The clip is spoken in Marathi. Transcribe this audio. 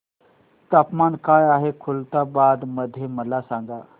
तापमान काय आहे खुलताबाद मध्ये मला सांगा